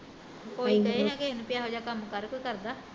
ਕੋਈ ਕਹੇ ਨਾ ਕਿਸੇ ਨੂੰ ਵੀ ਇਹੋ ਜਿਹਾਂ ਕੰਮ ਕਰ ਕੋਈ ਕਰਦਾ